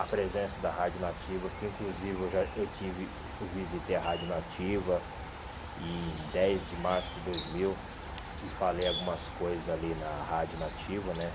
A presença da Rádio Nativa, que inclusive eu já eu tive eu visitei a Rádio Nativa em dez de março de dois mil e falei algumas coisas ali na Rádio Nativa, né?